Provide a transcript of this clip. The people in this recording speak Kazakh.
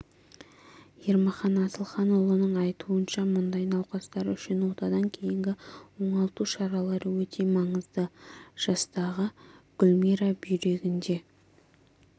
ермахан асылханұлының айтуынша мұндай науқастар үшін отадан кейінгі оңалту шаралары өте маңызды жастағы гүлмира бүйрегінде